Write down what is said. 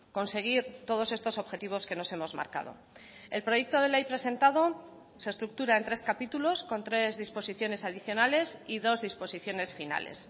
conseguir todos estos objetivos que nos hemos marcado el proyecto de ley presentado se estructura en tres capítulos con tres disposiciones adicionales y dos disposiciones finales